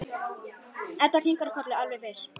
Edda kinkar kolli, alveg viss.